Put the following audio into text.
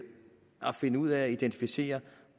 at finde ud af og identificere